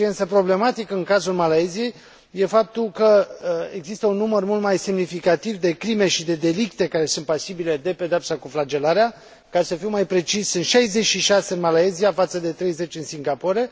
Ceea ce este, însă, problematic în cazul Malaysiei este faptul că există un număr mult mai semnificativ de crime și de delicte care sunt pasibile de pedeapsa cu flagelarea, ca să fiu mai precis, 66 în Malaysia, față de 30 în Singapore.